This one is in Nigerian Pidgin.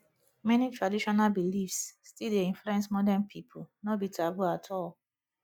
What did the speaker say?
many traditional beliefs still dey influence modern pipo no be taboo at all